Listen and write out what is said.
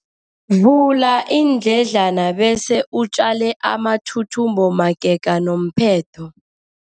Vula iindledlana bese utjale amathuthumbo magega nomphetho.